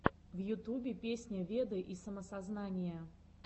в ютубе песня веды и самоосознание